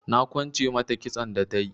Na kwance mata kitson da tayi.